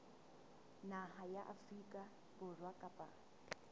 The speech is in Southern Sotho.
naha ya afrika borwa kapa